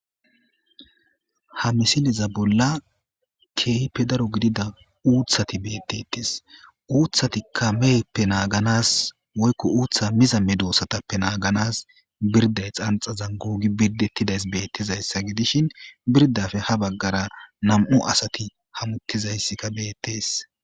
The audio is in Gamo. ha misileza bolla keype daro gidida uuthati beettetes uuthati kameyeppe naaganas woykko uutha miza me doossatappe naaganas birday xanxazan guugi birdettidays bettizayssa gidishin birdafe ha baggara nam7u asati hamuttizayssika beettees